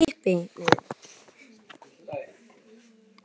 Finnum og leggjum áherslu á ástina og rómantíkina í sambúðinni núna!